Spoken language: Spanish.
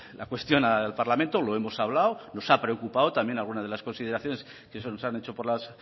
la cuestión al parlamento lo hemos hablado nos ha preocupado también alguna de las consideraciones que se nos han hecho por las